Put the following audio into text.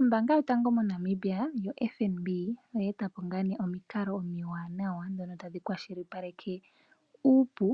Ombanga yotango moNamibia yoFNB oye etapo omikalo omiwanawa ndhono tadhi kwashipaleke uupu